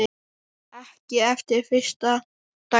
Ekki eftir fyrsta daginn.